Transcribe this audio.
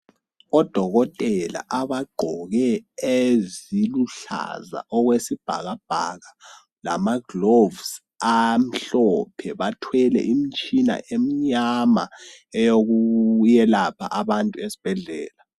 Odokotela abagqoke eziluhlaza okwesibhakabhaka lamaglovusi amhlophe bathwele imitshina eminyama eyokuyelapha abantu ezibhedlela.